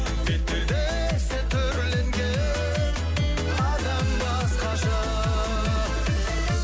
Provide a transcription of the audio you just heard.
бет пердесі түрленген адам басқаша